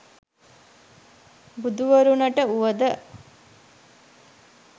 බුදුවරුනට වුව ද